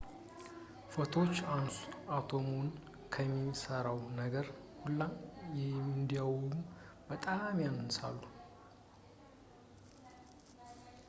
ፎቶኖች አቶሞችን ከሚሠራው ነገር ሁላ እንዲያውም በጣም ያንሳሉ